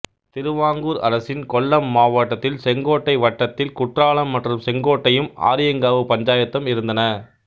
திருவாங்கூர் அரசின் கொல்லம் மாவட்டத்தில் செங்கோட்டைத் வட்டத்தில் குற்றாலம் மற்றும் செங்கோட்டையும் ஆரியங்காவு பஞ்சாயத்தும் இருந்தன